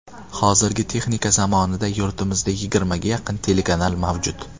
Hozirgi texnika zamonida yurtimizda yigirmaga yaqin telekanal mavjud.